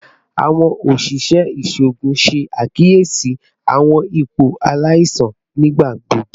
Awọn oṣiṣẹ iṣoogun ṣe akiyesi awọn ipo alaisan nigbagbogbo